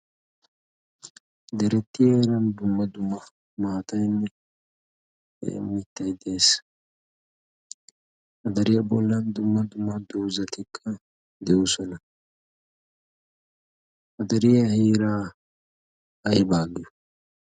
deretti heeran dumma dumma maatainne mittay dees adariyaa bollan dumma dumma doozatikka d'oosona. ha dariyaa heeray aybaa malatii